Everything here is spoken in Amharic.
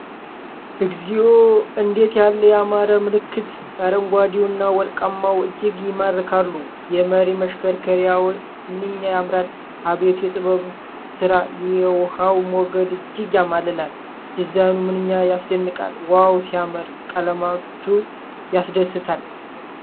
እግዚኦ! እንዴት ያለ ያማረ ምልክት! አረንጓዴውና ወርቃማው እጅግ ይማርካሉ። የመሪ መሽከርከሪያው ምንኛ ያምራል! አቤት የጥበብ ሥራ! የውሃው ሞገድ እጅግ ያማልላል። ዲዛይኑ ምንኛ ያስደንቃል! ዋው ሲያምር! ቀለማቱ ያስደስታል!